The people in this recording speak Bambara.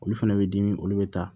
Olu fana bɛ dimi olu bɛ taa